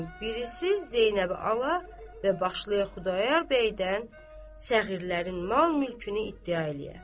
Birisi Zeynəbi ala və başlaya Xudayar bəydən səğirlərin mal-mülkünü iddia eləyə.